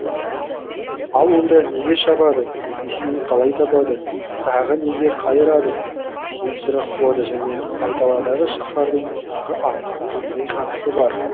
ал онда неге шабады қисынын қалай табады тағыны неге қайырады деген сұрақ туады және айдаладағы шаһардың тағы аңға қандай қатысы бар